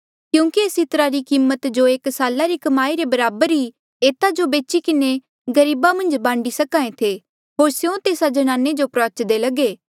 क्यूंकि एस इत्रा री कीमत जो एक साला री कमाई रे बराबर ई एता जो बेची किन्हें गरीबा मन्झ बांडी सक्हा ऐें थे होर स्यों तेस्सा ज्नाने जो प्रुआच्दे लगे